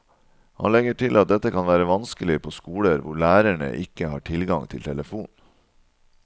Han legger til at dette kan være vanskelig på skoler hvor lærerne ikke har tilgang til telefon.